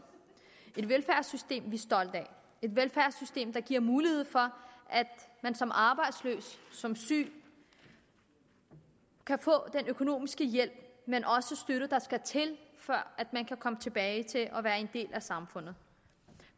et velfærdssystem vi er stolte af et velfærdssystem der giver mulighed for at man som arbejdsløs som syg kan få den økonomiske hjælp og støtte der skal til før man kan komme tilbage til at være en del af samfundet